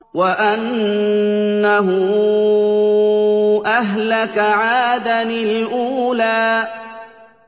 وَأَنَّهُ أَهْلَكَ عَادًا الْأُولَىٰ